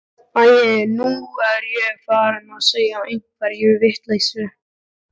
Æi, nú er ég farin að segja einhverja vitleysu.